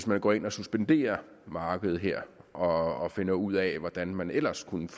man går ind og suspenderer markedet her og finder ud af hvordan man ellers kunne